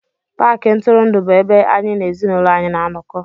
Paakị ntụrụndụ bụ ebe anyị na ezinụlọ anyị na-anọkọ